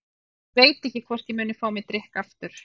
Ég veit ekki hvort ég muni fá mér drykk aftur.